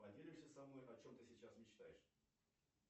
поделишься со мной о чем ты сейчас мечтаешь